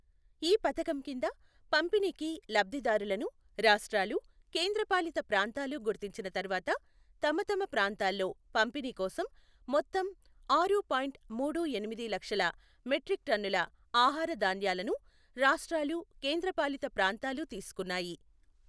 ఈ పథకం కింద పంపిణీకి లబ్ధిదారులను రాష్ట్రాలు, కేంద్ర పాలిత ప్రాంతాలు గుర్తించిన తర్వాత, తమతమ ప్రాంతాల్లో పంపిణీీకోసం మొత్తం ఆరు పాయింట్ మూడు ఎనిమిది లక్షల మెట్రిక్ టన్నుల ఆహార ధాన్యాలను రాష్ట్రాలు, కేంద్ర పాలిత ప్రాంతాలు తీసుకున్నాయి.